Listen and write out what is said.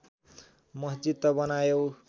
मस्जिद त बनायौ